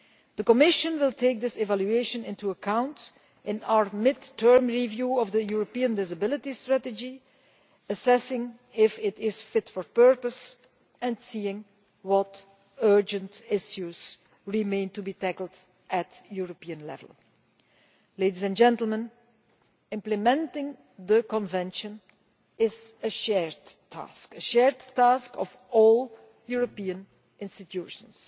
The Commission will take this evaluation into account in our mid term review of the European Disability Strategy, assessing whether it is fit for purpose and seeing what urgent issues remain to be tackled at European level. Implementing the Convention is a shared task, shared by all European institutions.